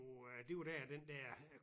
Ja det er jo er jo det jo der den der